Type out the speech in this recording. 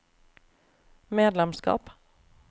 medlemskap